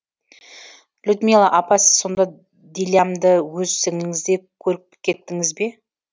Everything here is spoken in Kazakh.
людмила апа сіз сонда дилямды өз сіңліңіздей көріпкеттіңіз бе